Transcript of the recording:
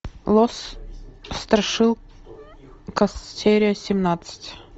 лос страшилкас серия семнадцать